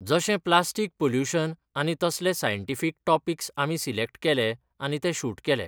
जशें plastic pollution आनी तसले सायन्टिफीक टॉपिक्स आमी सिलेक्ट केले आनी ते शूट केले.